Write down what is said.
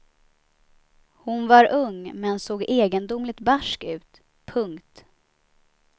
Hon var ung men såg egendomligt barsk ut. punkt